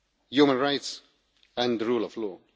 protection, human rights and the